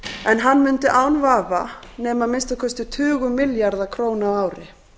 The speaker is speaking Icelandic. en hann mundi án vafa nema að minnsta kosti tugum milljarða króna á ári